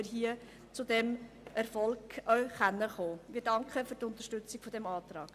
Wir danken für die Unterstützung dieses Antrags.